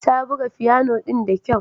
Ta buga fiyano ɗin da kyau.